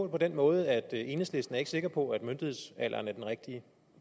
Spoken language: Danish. den måde at enhedslisten ikke er sikker på at myndighedsalderen er den rigtige